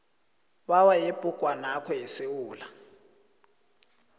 bayo yebhugwanakho yesewula